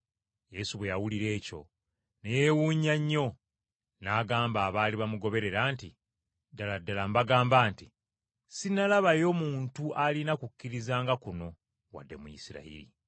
Yesu bwe yawulira ekyo ne yeewunya nnyo, n’agamba abaali bamugoberera nti, “Ddala ddala mbagamba nti, Sinnalabayo muntu alina kukkiriza nga kuno wadde mu lsirayiri!